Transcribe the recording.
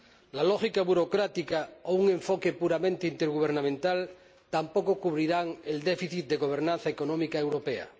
La lógica burocrática o un enfoque puramente intergubernamental tampoco cubrirán el déficit de gobernanza económica europea.